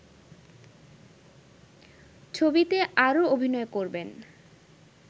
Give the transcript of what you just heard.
ছবিতে আরও অভিনয় করবেন